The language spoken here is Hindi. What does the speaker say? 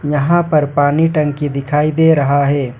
यहां पर पानी टंकी दिखाई दे रहा है।